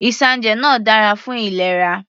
Isanje náà dára fún ìlera.